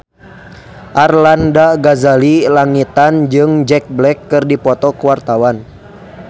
Arlanda Ghazali Langitan jeung Jack Black keur dipoto ku wartawan